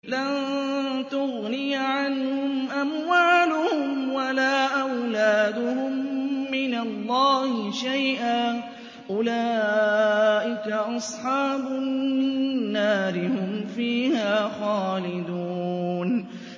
لَّن تُغْنِيَ عَنْهُمْ أَمْوَالُهُمْ وَلَا أَوْلَادُهُم مِّنَ اللَّهِ شَيْئًا ۚ أُولَٰئِكَ أَصْحَابُ النَّارِ ۖ هُمْ فِيهَا خَالِدُونَ